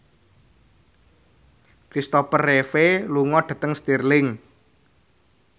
Christopher Reeve lunga dhateng Stirling